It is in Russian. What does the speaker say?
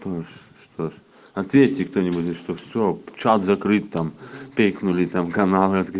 ты думаешь что же ответьте кто нибудь что все получалось закрыть там пикнули там каналы